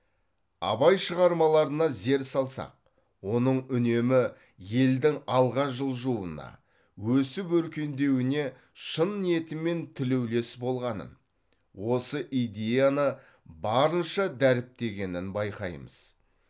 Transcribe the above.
абай шығармаларына зер салсақ оның үнемі елдің алға жылжуына өсіп өркендеуіне шын ниетімен тілеулес болғанын осы идеяны барынша дәріптегенін байқаймыз